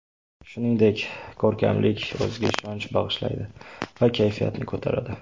Shuningdek, ko‘rkamlik, o‘ziga ishonch bag‘ishlaydi va kayfiyatni ko‘taradi.